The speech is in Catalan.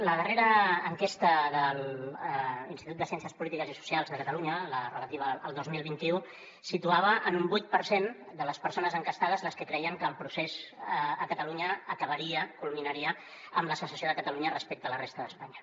la darrera enquesta de l’institut de ciències polítiques i socials de catalunya la relativa al dos mil vint u situava en un vuit per cent de les persones enquestades les que creien que el procés a catalunya acabaria culminaria amb la secessió de catalunya respecte a la resta d’espanya